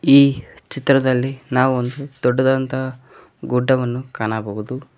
ಈ ಚಿತ್ರದಲ್ಲಿ ನಾವು ಒಂದು ದೊಡ್ಡದಾದಂತೆ ಗುಡ್ಡವನ್ನು ಕಾಣಬಹುದು.